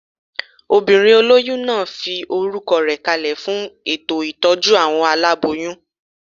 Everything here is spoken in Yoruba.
Obìnrin olóyún náà fi orúkọ rẹ̀ kalẹ̀ fún ètò ìtọ́jú àwọn aláboyún